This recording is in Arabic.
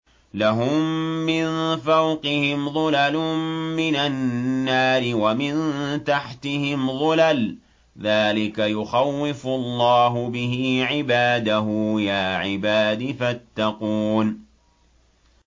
لَهُم مِّن فَوْقِهِمْ ظُلَلٌ مِّنَ النَّارِ وَمِن تَحْتِهِمْ ظُلَلٌ ۚ ذَٰلِكَ يُخَوِّفُ اللَّهُ بِهِ عِبَادَهُ ۚ يَا عِبَادِ فَاتَّقُونِ